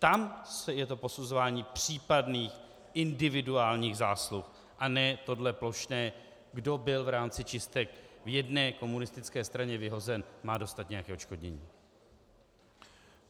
Tam je to posuzování případných individuálních zásluh, a ne tohle plošné - kdo byl v rámci čistek v jedné komunistické straně vyhozen, má dostat nějaké odškodnění.